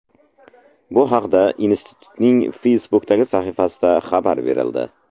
Bu haqda institutning Facebook’dagi sahifasida xabar berildi .